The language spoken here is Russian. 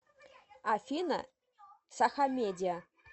афина сахамедиа